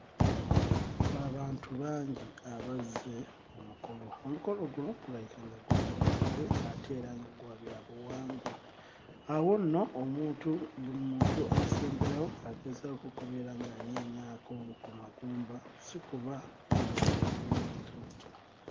Abantu bangi abazze ku mukolo omukolo guno gulabika nga bwa byafaayo ate era nga bwa byabuwangwa awo nno omuntu buli muntu asemberawo asemberawo agezaako okubeera ng'anyeenyaako ku magumba si kuba nga lumuleka lutyo.